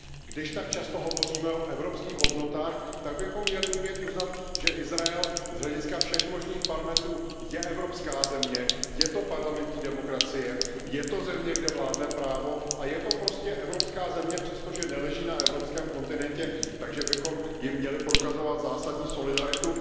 Když tak často hovoříme o evropských hodnotách, tak bychom měli umět uznat, že Izrael z hlediska všech možných parametrů je evropská země, je to parlamentní demokracie, je to země, kde vládne právo, a je to prostě evropská země, přestože neleží na evropském kontinentu, takže bychom jí měli prokazovat zásadní solidaritu.